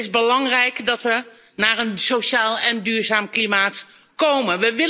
Het is belangrijk dat we tot een sociaal en duurzaam klimaat komen.